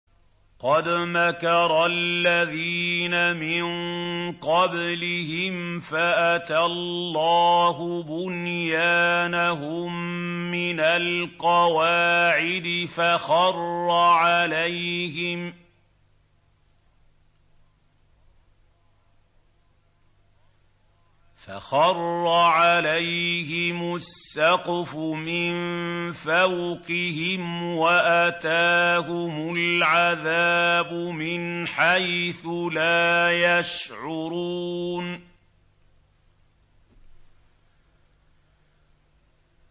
قَدْ مَكَرَ الَّذِينَ مِن قَبْلِهِمْ فَأَتَى اللَّهُ بُنْيَانَهُم مِّنَ الْقَوَاعِدِ فَخَرَّ عَلَيْهِمُ السَّقْفُ مِن فَوْقِهِمْ وَأَتَاهُمُ الْعَذَابُ مِنْ حَيْثُ لَا يَشْعُرُونَ